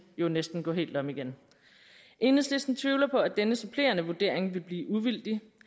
jo næsten gå helt om igen enhedslisten tvivler på at denne supplerende vurdering vil blive uvildig